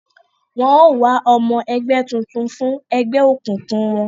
Wọn o wá ọmọ ẹgbẹ tuntun fún egbeokunkun wọn